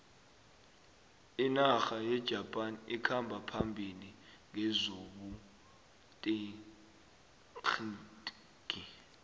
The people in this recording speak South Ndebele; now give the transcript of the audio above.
inarha yejapan ikhamba phambili ngezobuterhnigi